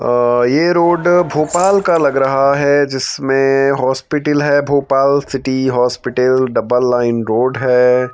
अ ये रोड भोपाल का लग रहा है जिसमें हॉस्पिटिल है Bhopal city hospital double line road है।